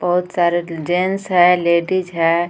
बहुत सारे जेंट्स हैं लेडीज हैं.